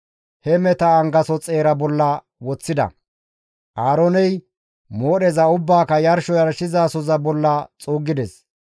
he meheta angaso xeera bolla woththida; Aarooney moodheza ubbaaka yarsho yarshizasoza bolla xuuggides.